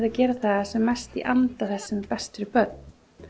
að gera það sem mest í anda þess sem er best fyrir börn